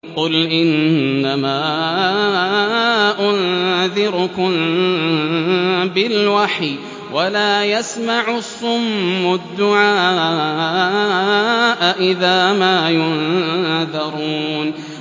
قُلْ إِنَّمَا أُنذِرُكُم بِالْوَحْيِ ۚ وَلَا يَسْمَعُ الصُّمُّ الدُّعَاءَ إِذَا مَا يُنذَرُونَ